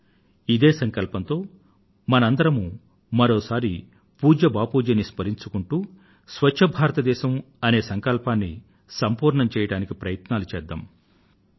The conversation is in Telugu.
రండి ఇదే సంకల్పంతో మనందరమూ మరోసారి పూజ్య బాపూజీ ని స్మరించుకుంటూ స్వచ్ఛ భారతదేశం అనే సంకల్పాన్ని సంపూర్ణం చెయ్యడానికి ప్రయత్నాలు చేద్దాం